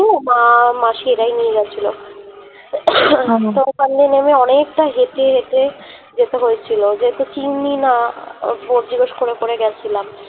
মা মাসি এরাই নিয়ে গেছিল তারপর নেমে অনেকটা হেটে হেটে যেতে হয়েছিল যেহুতু চিনি না জিজ্ঞেস করে করে গেছিলাম